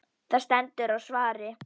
Það stendur á svari.